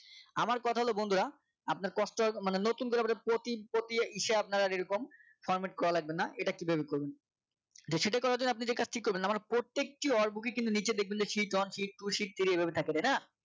আবার কথা হলো বন্ধুরা আপনার কষ্ট মানে নতুন করে আপনার protein ইসে আপনার এরকম format করা লাগবে না এটা কিভাবে করবেন তো সেটাই করার জন্য আপনি যে কাজটি করবেন না মানে প্রত্যেকটি alt book এ কিন্তু নিচে দেখবেন shift one shift two shift three যে এভাবে থাকে তাই না